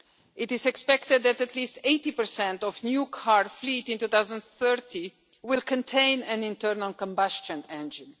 It is expected that at least 80 of new car fleets in 2030 will contain an internal combustion engine.